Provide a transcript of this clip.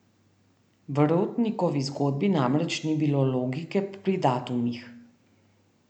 V Rotnikovi zgodbi namreč ni bilo logike pri datumih.